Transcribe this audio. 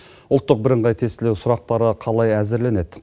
ұлттық бірыңғай тестілеу сұрақтары қалай әзірленеді